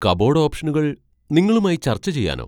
Cupboard ഓപ്ഷനുകൾ നിങ്ങളുമായി ചർച്ച ചെയ്യാനോ?